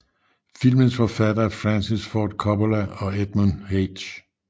Filmens forfattere Francis Ford Coppola og Edmund H